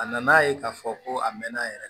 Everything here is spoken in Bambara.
A nan'a ye k'a fɔ ko a mɛnna a yɛrɛ